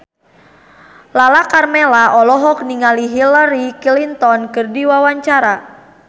Lala Karmela olohok ningali Hillary Clinton keur diwawancara